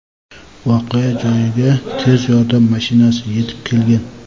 voqea joyiga tez yordam mashinasi yetib kelgan.